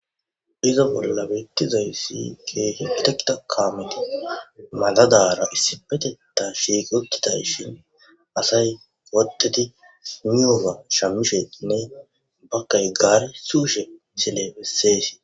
iza bolla bettizayssi ke'i itekke kameti madadara issipeteta shiqiutidashin asay uttidi soyioga shamisheinne baggay gare sugishshe sile bessees